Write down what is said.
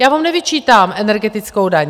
Já vám nevyčítám energetickou daň.